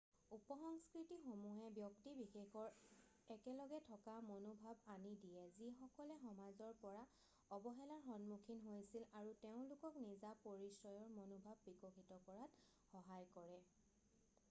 উপসংস্কৃতিসমূহে ব্যক্তি বিশেষৰ একেলগে থকা মনোভাৱ আনি দিয়ে যিসকলে সমাজৰ পৰা অৱহেলাৰ সন্মুখীন হৈছিল আৰু তেওঁলোকক নিজা পৰিচয়ৰ মনোভাৱ বিকশিত কৰাত সহায় কৰে